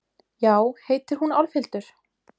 Já, heitir hún Álfhildur?